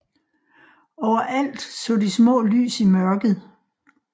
Overalt så de små lys i mørket